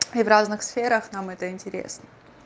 и в разных сферах нам это интересно